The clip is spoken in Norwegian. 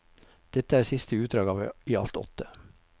Dette er siste utdrag av i alt åtte.